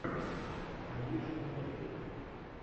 алиша мэри